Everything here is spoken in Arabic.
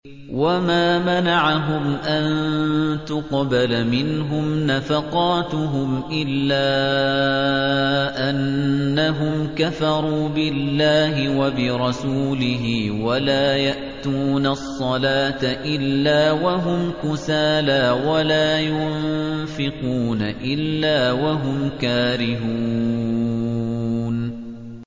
وَمَا مَنَعَهُمْ أَن تُقْبَلَ مِنْهُمْ نَفَقَاتُهُمْ إِلَّا أَنَّهُمْ كَفَرُوا بِاللَّهِ وَبِرَسُولِهِ وَلَا يَأْتُونَ الصَّلَاةَ إِلَّا وَهُمْ كُسَالَىٰ وَلَا يُنفِقُونَ إِلَّا وَهُمْ كَارِهُونَ